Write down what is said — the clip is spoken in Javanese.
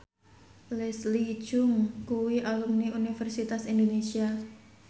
Leslie Cheung kuwi alumni Universitas Indonesia